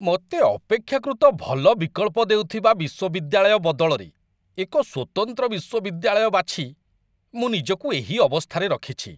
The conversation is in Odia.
ମୋତେ ଅପେକ୍ଷାକୃତ ଭଲ ବିକଳ୍ପ ଦେଉଥିବା ବିଶ୍ୱବିଦ୍ୟାଳୟ ବଦଳରେ ଏକ ସ୍ୱତନ୍ତ୍ର ବିଶ୍ୱବିଦ୍ୟାଳୟ ବାଛି ମୁଁ ନିଜକୁ ଏହି ଅବସ୍ଥାରେ ରଖିଛି।